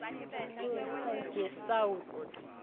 kuwebsite ye south